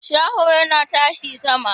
Shaho yana tashi sama